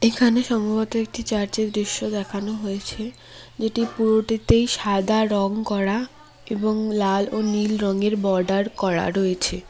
এখানে সম্ভবত একটি চার্চের দৃশ্য দেখানো হয়েছে যেটির পুরোটিতেই সাদা রঙ করা এবং লাল ও নীল রঙের বর্ডার করা রয়েছে।